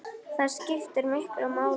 Það skiptir miklu máli, já.